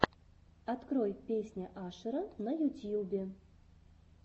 открой песня ашера на ютьюбе